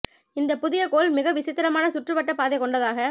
இந்தப் புதிய கோள் மிக விசித்திரமான சுற்று வட்டப் பாதை கொண்டதாக